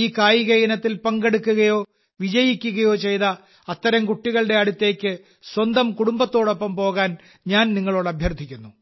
ഈ കായിക ഇനത്തിൽ പങ്കെടുക്കുകയോ വിജയിക്കുകയോ ചെയ്ത അത്തരം കുട്ടികളുടെ അടുത്തേക്ക് സ്വന്തം കുടുംബത്തോടൊപ്പം പോകാൻ ഞാൻ നിങ്ങളോട് അഭ്യർത്ഥിക്കുന്നു